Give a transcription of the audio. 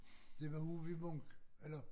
Det var ude ved Munk eller